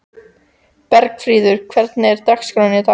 Bergfríður, hvernig er dagskráin í dag?